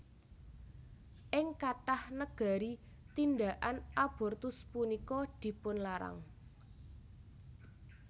Ing kathah negari tindhakan abortus punika dipunlarang